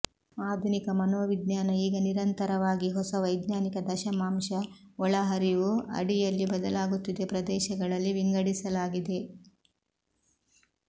ಆಧುನಿಕ ಮನೋವಿಜ್ಞಾನ ಈಗ ನಿರಂತರವಾಗಿ ಹೊಸ ವೈಜ್ಞಾನಿಕ ದಶಮಾಂಶ ಒಳಹರಿವು ಅಡಿಯಲ್ಲಿ ಬದಲಾಗುತ್ತಿದೆ ಪ್ರದೇಶಗಳಲ್ಲಿ ವಿಂಗಡಿಸಲಾಗಿದೆ